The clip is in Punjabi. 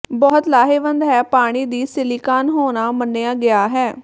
ਬਹੁਤ ਲਾਹੇਵੰਦ ਹੈ ਪਾਣੀ ਦੀ ਸਿਲੀਕਾਨ ਹੋਣਾ ਮੰਨਿਆ ਗਿਆ ਹੈ